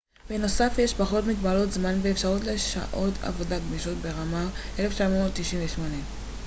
בנוסף יש פחות מגבלות זמן ואפשרות לשעות עבודה גמישות. ברמר 1998